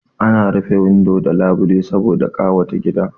Ana rufe windo da labile saboda ƙawata gida